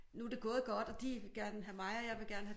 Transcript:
Nu det gået godt og de gerne have mig og jeg vil gerne have